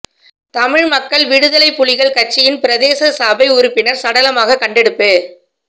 தமிழ் மக்கள் விடுதலைப் புலிகள் கட்சியின் பிரதேச சபை உறுப்பினர் சடலமாக கண்டெடுப்பு